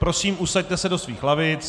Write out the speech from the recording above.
Prosím, usaďte se do svých lavic.